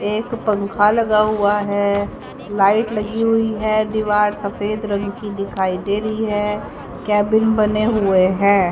एक पंखा लगा हुआ है लाइट लगी हुई है दीवार सफेद रंग की दिखाई दे रही है केबिन बने हुए हैं।